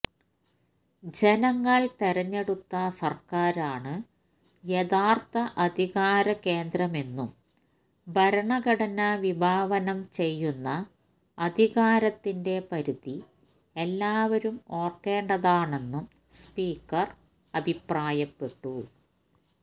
ജനങ്ങൾ തെരഞ്ഞെടുത്ത സർക്കാരാണ് യഥാർത്ഥ അധികാരകേന്ദ്രമെന്നും ഭരണഘടന വിഭാവനം ചെയ്യുന്ന അധികാരത്തിന്റെ പരിധി എല്ലാവരും ഓർക്കേണ്ടതാണെന്നും സ്പീക്കർ അഭിപ്രായപ്പെട്ടു